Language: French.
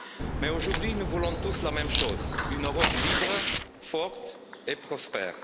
Mais aujourd'hui, nous voulons tous la même chose une Europe libre, forte et prospère.